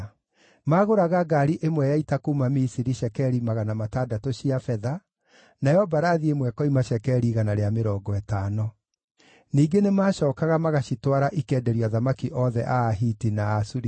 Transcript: Maagũraga ngaari ĩmwe ya ita kuuma Misiri cekeri 600 cia betha, nayo mbarathi ĩmwe ĩkoima cekeri 150. Ningĩ nĩmacookaga magacitwara ikenderio athamaki othe a Ahiti na a Suriata.